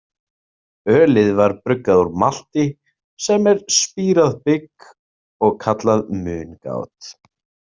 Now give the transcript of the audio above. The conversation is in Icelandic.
Ölið var bruggað úr malti, sem er spírað bygg, og kallað mungát.